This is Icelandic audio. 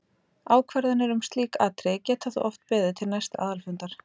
Ákvarðanir um slík atriði geta þó oft beðið til næsta aðalfundar.